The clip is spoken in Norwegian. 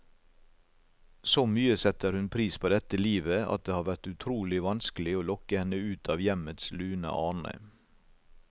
Så mye setter hun pris på dette livet, at det har vært utrolig vanskelig å lokke henne ut av hjemmets lune arne.